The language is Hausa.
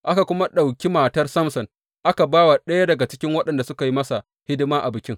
Aka kuma ɗauki matar Samson aka ba wa ɗaya daga cikin waɗanda suka yi masa hidima a bikin.